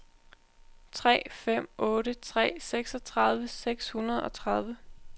tre fem otte tre seksogtredive seks hundrede og tredive